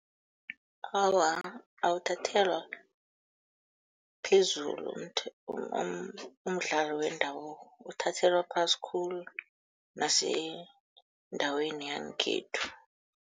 Awa, awuthathelwa phezulu umdlalo wendabuko, uthathelwa phasi khulu nasendaweni yangekhethu.